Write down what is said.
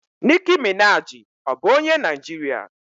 Nicki Minaji ọ bụ onye Naijiria?